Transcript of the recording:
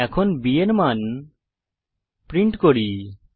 এখন b এর মান প্রিন্ট করি